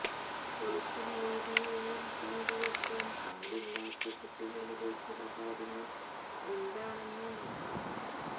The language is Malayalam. സോഷ്യൽ മീഡിയയിൽ പങ്കുവെക്കാൻ പാടില്ലാത്ത കുട്ടികളുടെ ചില കാര്യങ്ങൾ എന്താണെന്ന് നോക്കാം